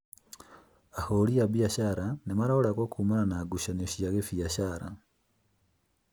Ahũri a biacara nĩmoragagwo kumana na ngucanio cia gĩbiacara